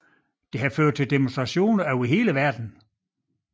Det har ført til demonstrationer over hele verden